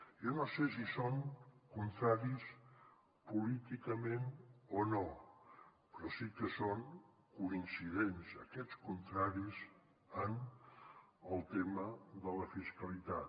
jo no sé si són contraris políticament o no però sí que són coincidents aquests contraris en el tema de la fiscalitat